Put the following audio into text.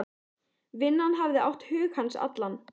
Vinnan hafði átt hug hans allan.